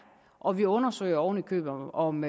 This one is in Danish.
og vi undersøger oven i købet om